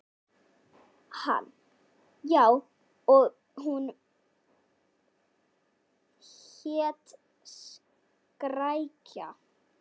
Hann: Já, og hún hét Skrækja.